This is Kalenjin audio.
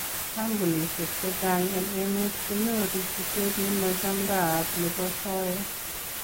Kampunisyeek chechang en emeet konyoruu chutet nemachamdayaat nebo soyeet.